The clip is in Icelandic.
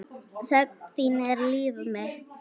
Þögn þín er líf mitt.